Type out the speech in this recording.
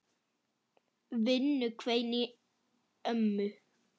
Vinnu hvein í ömmu.